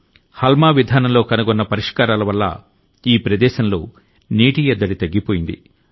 హల్మా విధానంలో కనుగొన్న పరిష్కారాల వల్ల ఈ ప్రదేశంలో నీటి ఎద్దడి తగ్గిపోయింది